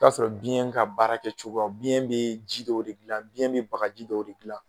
O y'a sɔrɔ biyɛn ka baara kɛ cogo, biyɛn bɛ ji dɔw de dilan ,biyɛn bɛ baga ji dɔ de dilan